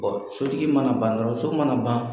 sotigi mana ban dɔrɔn so mana ban